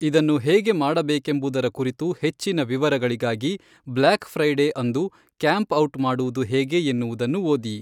ಇದನ್ನು ಹೇಗೆ ಮಾಡಬೇಕೆಂಬುದರ ಕುರಿತು ಹೆಚ್ಚಿನ ವಿವರಗಳಿಗಾಗಿ ಬ್ಲ್ಯಾಕ್ ಫ್ರೈಡೇ ಅಂದು ಕ್ಯಾಂಪ್ ಔಟ್ ಮಾಡುವುದು ಹೇಗೆ ಎನ್ನುವುದನ್ನು ಓದಿ.